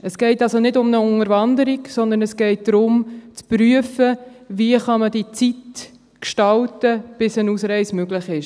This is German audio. Es geht also nicht um eine Unterwanderung, sondern es geht darum, zu prüfen, wie man diese Zeit gestalten kann, bis eine Ausreise möglich ist.